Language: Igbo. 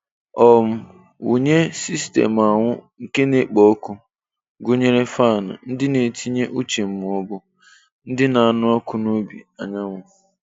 um Wụnye sistemu anwụ na-ekpo ọkụ, gụnyere fan, ndị na-etinye uche ma ọ bụ ndị na-anụ ọkụ n'obi anyanwụ.